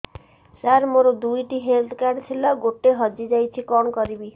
ସାର ମୋର ଦୁଇ ଟି ହେଲ୍ଥ କାର୍ଡ ଥିଲା ଗୋଟେ ହଜିଯାଇଛି କଣ କରିବି